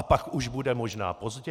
A pak už bude možná pozdě?